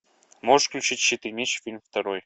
можешь включить щит и меч фильм второй